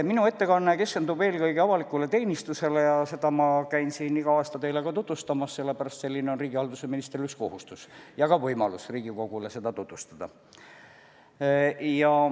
Minu ettekanne keskendub eelkõige avalikule teenistusele ja seda ma käin siin igal aastal teile tutvustamas, sellepärast, et see on üks riigihalduse ministri kohustus ja ka võimalus Riigikogule seda valdkonda tutvustada.